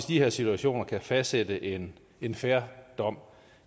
de her situationer kan fastsætte en en fair dom